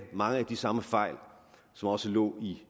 mange af de samme fejl som også lå i